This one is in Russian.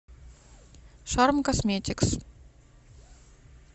шарм косметикс